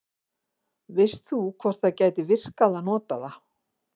Veist þú hvort það gæti virkað að nota það?